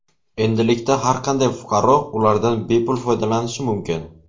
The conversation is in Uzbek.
Endilikda har qanday fuqaro ulardan bepul foydalanishi mumkin.